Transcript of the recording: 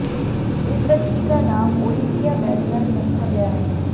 इस बच्ची का नाम ओलिविया वैगनर रखा गया है